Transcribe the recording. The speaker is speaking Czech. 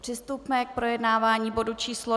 Přistupme k projednávání bodu číslo